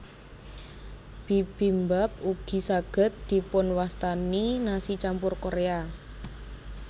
Bibimbap ugi saged dipunwastani nasi campur Korea